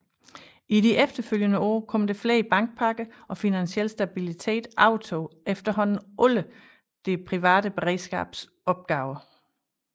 I de efterfølgende år kom der flere bankpakker og Finansiel Stabilitet overtog efterhånden alle Det Private Beredskabs opgaver